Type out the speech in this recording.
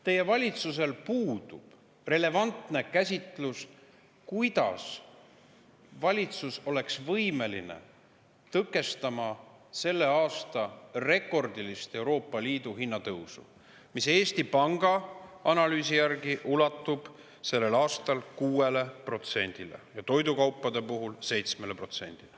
Teie valitsusel puudub relevantne käsitlus, kuidas valitsus oleks võimeline tõkestama Euroopa Liidu selle aasta rekordilist hinnatõusu, mis Eesti Panga analüüsi järgi ulatub 6%‑ni ja toidukaupade puhul 7%‑ni.